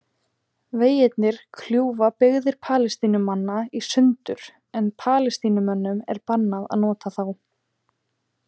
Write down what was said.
Vegirnir kljúfa byggðir Palestínumanna í sundur en Palestínumönnum er bannað að nota þá.